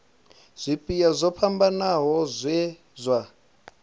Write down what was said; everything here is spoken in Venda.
zwipia zwo fhambanaho zwe zwa